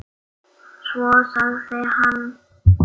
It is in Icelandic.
Svo sagði hann